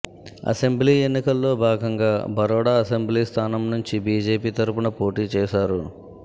assembly ఎన్నికల్లో భాగంగా Baroda assembly స్థానం నుంచి బీజేపీ తరుపున పోటీ చేశారు